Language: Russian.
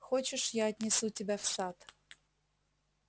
хочешь я отнесу тебя в сад